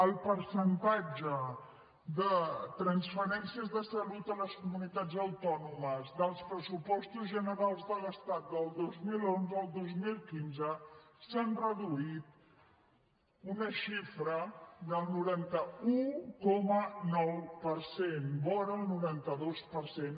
el percentatge de transferències de salut a les comunitats autònomes dels pressupostos generals de l’estat del dos mil onze al dos mil quinze s’han reduït una xifra del noranta un coma nou per cent vora el noranta dos per cent